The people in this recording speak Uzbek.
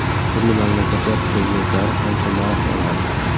Turli mamlakatlar prezidentlari qancha maosh oladi?.